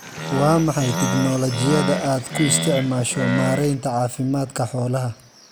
Waa maxay tignoolajiyada aad ku isticmaasho maaraynta caafimaadka xoolaha?